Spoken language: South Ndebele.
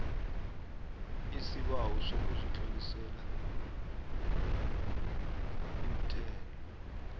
isibawo sokuzitlolisela umthelo